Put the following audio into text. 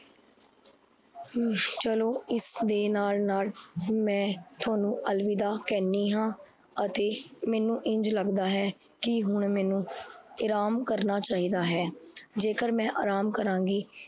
ਚਲੋ ਇਸ ਦੇ ਨਾਲ ਨਾਲ ਮੈ ਤੁਹਾਨੂੰ ਅਲਵਿਦਾ ਕਹਨੀ ਹਾਂ ਅਤੇ ਮੈਨੂੰ ਇੰਝ ਲੱਗਦਾ ਹੈ। ਕੀ ਹੁਣ ਮੈਨੂੰ ਇਰਾਮ ਕਰਨਾ ਚਾਹੀਦਾ ਹੈ। ਜੇਕਰ ਮੈ ਆਰਮ ਕਰਾਂਗੀ